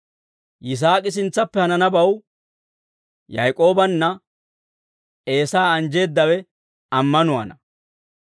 Yisaak'i sintsappe hananabaw Yaak'oobanne Eesaa anjjeeddawe ammanuwaana.